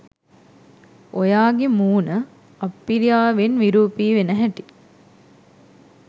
ඔයාගෙ මුණ අප්පිරියාවෙන් විරූපි වෙන හැටි